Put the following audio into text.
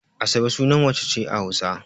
Asabe sunan mace ce a Hausa.